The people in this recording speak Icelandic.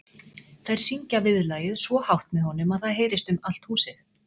Þær syngja viðlagið svo hátt með honum að það heyrist um allt húsið.